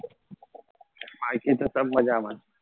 બાકી તો સબ મજામાં છે